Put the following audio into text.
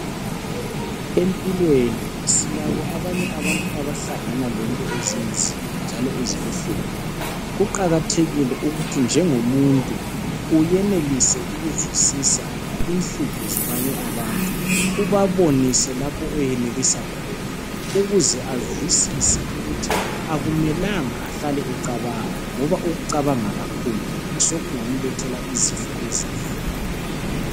Empilweni silabo abanye abantu abahlangana lezinto ezinzima njalo ezibuhlungu kuqakathekile ukuthi njengomuntu uyenelise ukuzwisisa inhlupho zabanye abantu ubabonise lapho oyenelisa khona ukuze azwisise ukuthi akumelanga ahlale ecabanga ngoba ukucabanga kakhulu sekungamlethe izifo ezinengi.